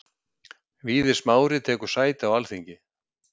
Víðir Smári tekur sæti á Alþingi